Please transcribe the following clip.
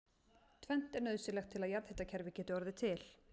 Tvennt er nauðsynlegt til að jarðhitakerfi geti orðið til.